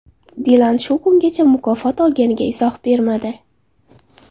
Dilan shu kungacha mukofot olganiga izoh bermadi.